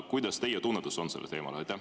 Kuidas teie tunnetus on sellel teemal?